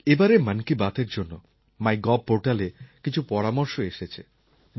এবারের মন কি বাতএর জন্য মাই গভ পোর্টালে কিছু পরামর্শ এসেছে